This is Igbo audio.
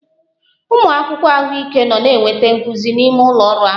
Ụmụ akwụkwọ ahụike nọ na-enweta nkuzi n'ime ụlọ ọrụ ahụ